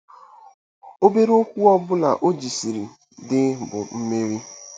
Obere okwu ọ bụla o jisiri dee bụ mmeri.